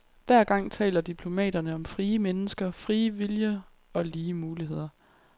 Hver gang taler diplomaterne om frie mennesker, frie viljer og lige muligheder.